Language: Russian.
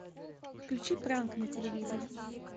включи пранк на телевизоре